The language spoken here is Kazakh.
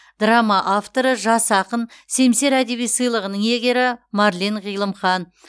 драма авторы жас ақын семсер әдеби сыйлығының иегері марлен ғилымхан